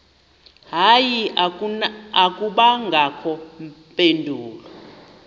hayi akubangakho mpendulo